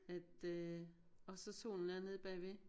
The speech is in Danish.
At øh og så solen er nede bagved